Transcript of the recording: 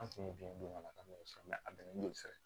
An kun ye biyɛn don ka taa n'o ye sa a bɛnnen don sira kan